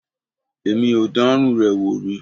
Èmi ò dánrú rẹ̀ wò rí.